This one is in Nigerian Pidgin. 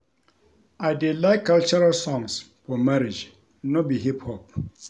I dey like cultural songs for marriage no be hip hop